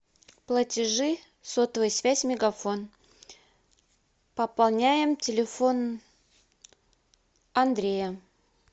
платежи сотовая связь мегафон пополняем телефон андрея